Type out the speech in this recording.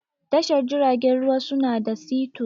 Tashar jiragen ruwa su na da sito.